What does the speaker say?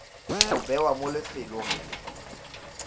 go bewa mo lefelong le